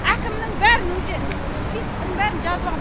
әкімнің бәрін уже спискісін бәрін жазывағам